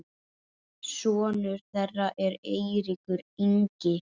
sonur þeirra er Eiríkur Ingi.